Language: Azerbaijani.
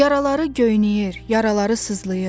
Yaraları göynəyir, yaraları sızlayır.